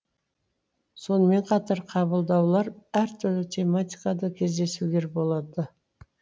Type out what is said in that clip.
сонымен қатар қабылдаулар әртүрлі тематикада кездесулер болады